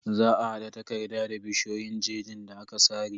Za a hada takarda da bishiyoyin jejin da aka sare.